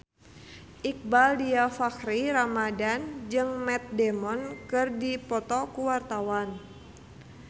Iqbaal Dhiafakhri Ramadhan jeung Matt Damon keur dipoto ku wartawan